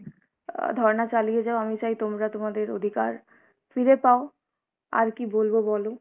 অ্যাঁ ধর্না চালিয়ে যাও, আমি চাই তোমরা তোমাদের অধিকার ফিরে পাও, আর কী বলবো বলো।